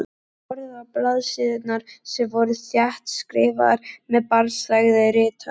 Hann horfði á blaðsíðurnar sem voru þéttskrifaðar með barnslegri rithönd.